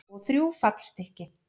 Og þrjú fallstykki.